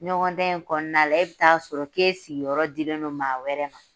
Ɲɔgɔndan in kɔnɔna la , e bi t'a sɔrɔ k'e sigiyɔrɔ dilen don maa wɛrɛ ma.